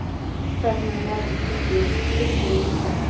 Hvernig er Njarðvík tilbúið í það?